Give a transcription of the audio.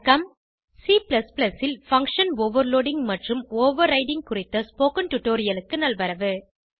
C ல் function overloading மற்றும் overriding குறித்த ஸ்போகன் டுடோரியலுக்கு நல்வரவு